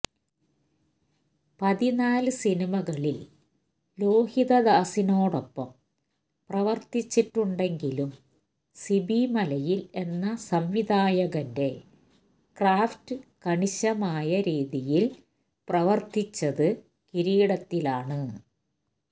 പതിനാല് സിനിമകളില് ലോഹിതദാസിനോടൊപ്പം പ്രവര്ത്തിച്ചിട്ടുണ്ടെങ്കിലും സിബി മലയില് എന്ന സംവിധായകന്റെ ക്രാഫ്റ്റ് കണിശമായ രീതിയില് പ്രവര്ത്തിച്ചത് കിരീടത്തിലാണ്